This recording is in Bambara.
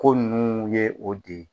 Ko nunnu ye o de ye